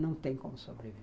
Não tem como sobreviver.